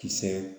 Kisɛ